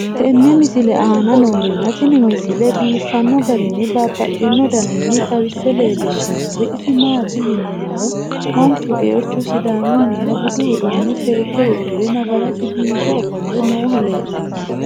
tenne misile aana noorina tini misile biiffanno garinni babaxxinno daniinni xawisse leelishanori isi maati yinummoro manchu geerichu sidaamunniha buddu uudunne seeke udirre nafaraasi biiffe offolle noohu leelanno